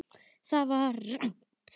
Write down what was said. ÞAÐ VAR RANGT.